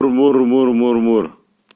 мур-мур-мур мур